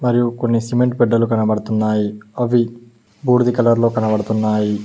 మరియు కొన్ని సిమెంట్ బెడ్డలు కనబడుతున్నాయి అవి బూడిద కలర్ లో కనబడుతున్నాయి.